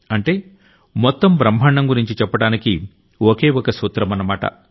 అంటే మొత్తం బ్రహ్మాండం గురించి చెప్పడానికి ఒకే ఒక సూత్రమన్న మాట